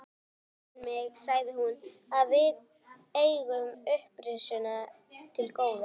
Það hlægir mig, sagði hún,-að við eigum upprisuna til góða.